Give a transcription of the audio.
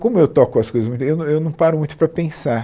Como eu toco as coisas muito, eu eu não paro muito para pensar.